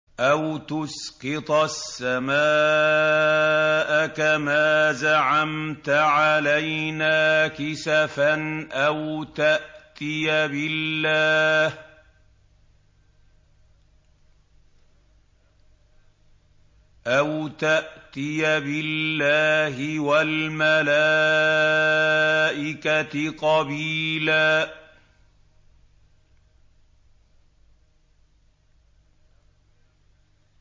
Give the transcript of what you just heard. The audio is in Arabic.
أَوْ تُسْقِطَ السَّمَاءَ كَمَا زَعَمْتَ عَلَيْنَا كِسَفًا أَوْ تَأْتِيَ بِاللَّهِ وَالْمَلَائِكَةِ قَبِيلًا